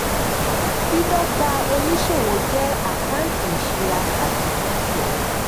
dídọ́gba oníṣòwò jẹ́ àkántì ìṣura àti dúkìá.